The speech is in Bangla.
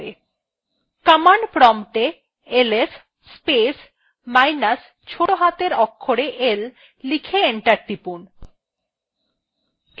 command প্রম্পটএ ls space minus ছোটো হাতের অক্ষরে l লিখে enter টিপুন